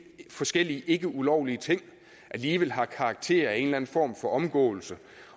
forskellige ikkeulovlige ting alligevel har karakter af en eller en form for omgåelse